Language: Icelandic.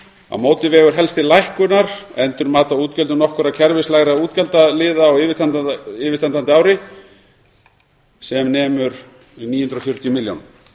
á móti vegur helst til lækkunar endurmat á útgjöldum nokkurra kerfislægra útgjaldaliða á yfirstandandi ári sem nemur níu hundruð og fjörutíu milljónum